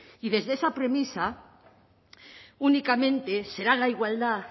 y desde esa premisa únicamente será la igualdad